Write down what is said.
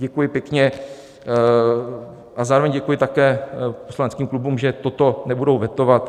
Děkuji pěkně a zároveň děkuji také poslaneckým klubům, že to nebudou vetovat.